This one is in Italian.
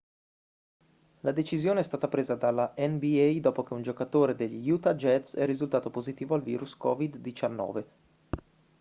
la decisione è stata presa dalla nba dopo che un giocatore degli utah jazz è risultato positivo al virus covid-19